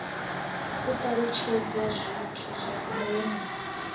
u talutshedza zwithu zwa ndeme